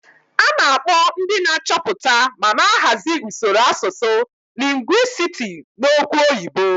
A na-akpọ ndị na-achọpụta ma na-ahazi usoro asụsụ lingwisiti n'okwu oyibo.